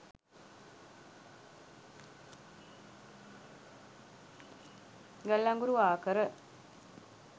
ගල් අඟුරු ආකර